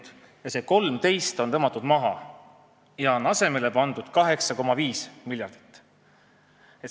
Samas on see 13 maha tõmmatud ja asemele on kirjutatud 8,5 miljardit.